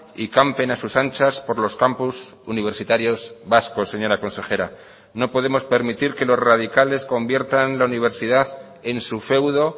y campen a sus anchas por los campus universitarios vascos señora consejera no podemos permitir que los radicales conviertan la universidad en su feudo